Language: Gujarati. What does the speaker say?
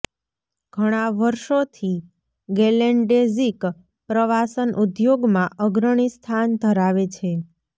ઘણા વર્ષોથી ગેલેન્ડેઝિક પ્રવાસન ઉદ્યોગમાં અગ્રણી સ્થાન ધરાવે છે